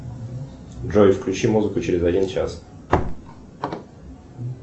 джой включи музыку через один час